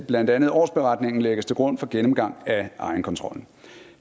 blandt andet årsberetningen lægges til grund for gennemgang af egenkontrollen